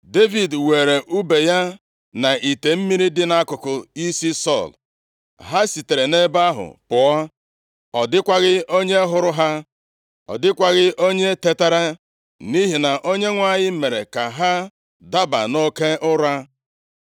Devid weere ùbe ya na ite mmiri dị nʼakụkụ isi Sọl, ha sitere nʼebe ahụ pụọ. Ọ dịkwaghị onye hụrụ ha. Ọ dịkwaghị onye tetara, nʼihi na Onyenwe anyị mere ka ha daba nʼoke ụra.